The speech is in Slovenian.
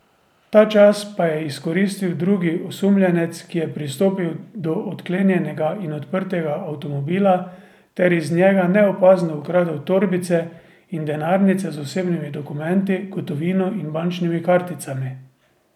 Ta čas pa je izkoristili drugi osumljenec, ki je pristopil do odklenjenega in odprtega avtomobila ter iz njega neopazno ukradel torbice in denarnice z osebnimi dokumenti, gotovino in bančnimi karticami.